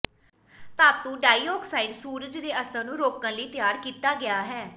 ਧਾਤੂ ਡਾਈਆਕਸਾਈਡ ਸੂਰਜ ਦੇ ਅਸਰ ਨੂੰ ਰੋਕਣ ਲਈ ਤਿਆਰ ਕੀਤਾ ਗਿਆ ਹੈ